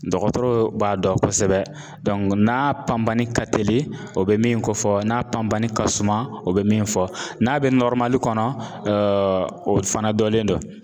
Dɔgɔtɔrɔ b'a dɔn kosɛbɛ. n'a panbani ka teli o bɛ min kofɔ, n'a panpani ka suman o bɛ min fɔ, n'a bɛ kɔnɔ o fana dɔlen don.